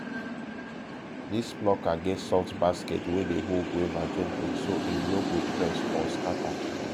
this plucker get soft basket wey dey hold guava gently so e no go press or scatter